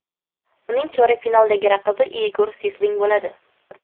Uning chorak finaldagi raqibi Igor Siysling bo‘ladi.